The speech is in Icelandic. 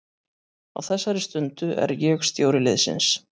Á þessari stundu er ég stjóri liðsins.